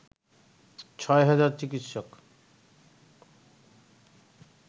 ছয় হাজার চিকিৎসক